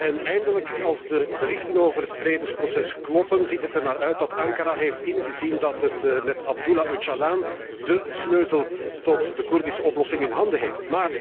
En eindelijk, als de berichten over het vredesproces kloppen, ziet het ernaar uit dat Ankara heeft ingezien dat het met Abdullah Öcalan de sleutel tot de Koerdische oplossing in handen heeft.